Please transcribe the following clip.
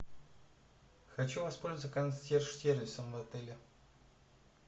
хочу воспользоваться консьерж сервисом в отеле